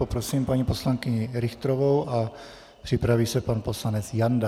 Poprosím paní poslankyni Richterovou a připraví se pan poslanec Janda.